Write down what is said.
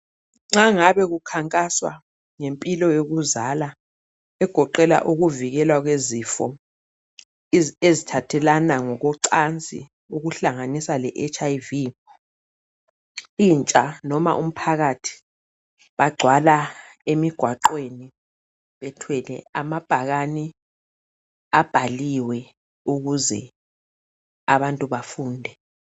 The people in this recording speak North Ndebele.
Nxa ngabe kukhankaswa ngempilo yokuzala egoqela ukuvikelwa kwezifo ezithathelana ngokwecansi okuhlanganisa leHIV intsha noma umphakathi bagcwala emigwaqweni bethwele amabhakani abhaliwe ukuze abantu bafunde.